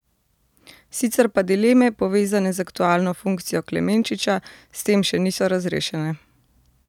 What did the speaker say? Sicer pa dileme, povezane z aktualno funkcijo Klemenčiča, s tem še niso razrešene.